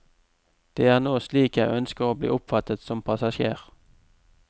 Det er nå slik jeg ønsker å bli oppfattet som passasjer.